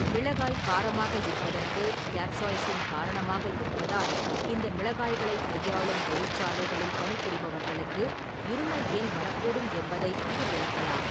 மிளகாய் காரமாக இருப்பதற்குக் கேப்சாய்சின் காரணமாக இருப்பதால் இந்த மிளகாய்களைக் கையாளும் தொழிற்சாலைகளில் பணிபுரிபவர்களுக்கு இருமல் ஏன் வரக்கூடும் என்பதை இது விளக்கலாம்.